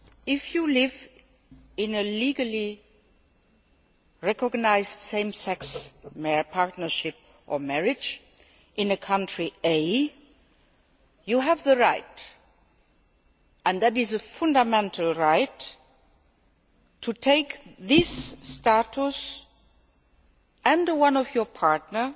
If you live in a legally recognised same sex partnership, or marriage, in country A, you have the right and this is a fundamental right to take this status and that of your partner